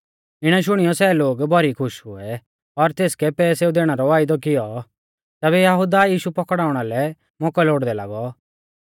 इणै शुणियौ सै लोग भौरी खुश हुऐ और तेसकै पैसेऊ दैणै रौ वायदौ कियौ तैबै यहुदा यीशु पौकड़ाउणा लै मौकौ लोड़दै लागौ